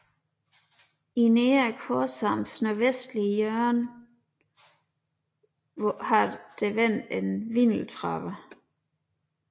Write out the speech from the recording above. I nedre korsarms nordvestlige hjørne har der været en vindeltrappe